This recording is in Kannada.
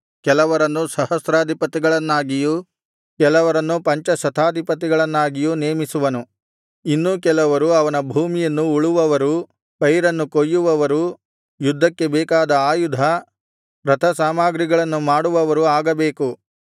ಕೆಲವರನ್ನು ಸಹಸ್ರಾಧಿಪತಿಗಳನ್ನಾಗಿಯೂ ಕೆಲವರನ್ನು ಪಂಚಶತಾಧಿಪತಿಗಳನ್ನಾಗಿಯೂ ನೇಮಿಸುವನು ಇನ್ನು ಕೆಲವರು ಅವನ ಭೂಮಿಯನ್ನು ಉಳುವವರೂ ಪೈರನ್ನು ಕೊಯ್ಯುವವರೂ ಯುದ್ಧಕ್ಕೆ ಬೇಕಾದ ಆಯುಧ ರಥಸಾಮಾಗ್ರಿಗಳನ್ನು ಮಾಡುವವರೂ ಆಗಬೇಕು